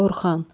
Orxan.